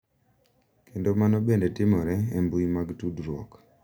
Kendo mano bende timore e mbui mag tudruok.